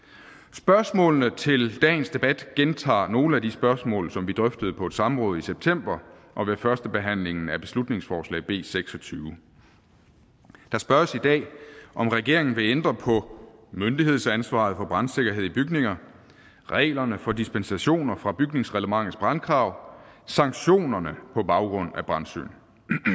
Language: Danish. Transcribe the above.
spørgsmålene til dagens debat gentager nogle af de spørgsmål som vi drøftede på et samråd i september og ved førstebehandlingen af beslutningsforslag b seksogtyvende der spørges i dag om regeringen vil ændre på myndighedsansvaret for brandsikkerhed i bygninger reglerne for dispensationer fra bygningsreglementets brandkrav sanktionerne på baggrund af brandsyn